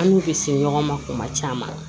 An n'u bɛ se ɲɔgɔn ma kuma caman